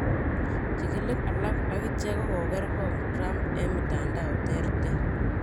Chikilig alak agicheek kogoreekgong' Trump en mitandao terter.